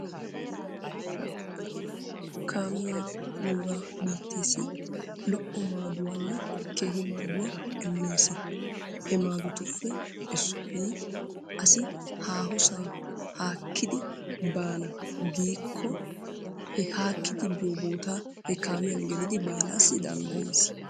Kaamee nuugaa biitteessi lo'o maaduwanne Keehi maaduwa immes. He maadotuppe Issoyi asi haahosaa haakkidi baana giikkoo he haakkidi biyo bootaa he kaamiyan gelidi baanaassi danddayeettes.